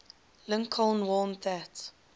lincoln warned that